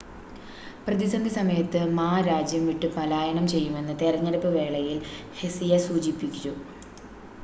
പ്രതിസന്ധി സമയത്ത് മാ രാജ്യം വിട്ട് പലായനം ചെയ്യുമെന്ന് തെരഞ്ഞെടുപ്പ് വേളയിൽ ഹെസിയ സൂചിപ്പിച്ചു